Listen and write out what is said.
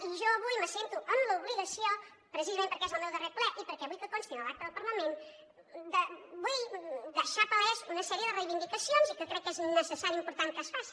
i jo avui me sento en l’obligació precisament perquè és el meu darrer ple i perquè vull que consti a l’acta del parlament vull deixar paleses una sèrie de reivindicacions i que crec que és necessari i important que es faci